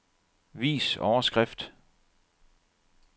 Vis overskrift.